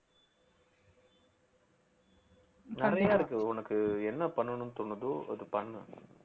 நிறைய இருக்கு உனக்கு என்ன பண்ணணும்னு தோணுதோ அத பண்ணு